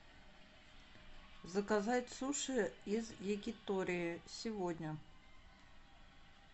заказать суши из якитории сегодня